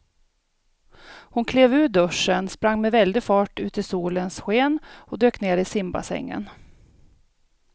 Hon klev ur duschen, sprang med väldig fart ut i solens sken och dök ner i simbassängen.